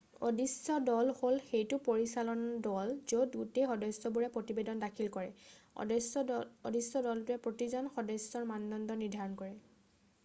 """অদৃশ্য দল" হ'ল সেইটো পৰিচালন দল য'ত গোটেই সদস্যবোৰে প্ৰতিবেদন দাখিল কৰে। অদৃশ্য দলটোৱে প্ৰতিজন সদস্যৰ মানদণ্ড নিৰ্ধাৰণ কৰে।""